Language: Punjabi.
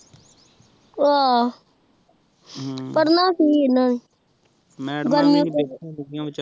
ਓਹਾ ਪੜਨਾ ਕੀ ਇਹਨਾਂ ਨੇ